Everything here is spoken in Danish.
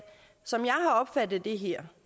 som jeg har opfattet det her